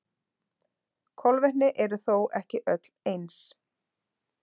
Kolvetni eru þó ekki öll eins.